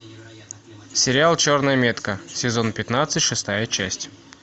сериал черная метка сезон пятнадцать шестая часть